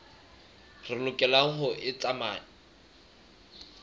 re lokelang ho e tsamaya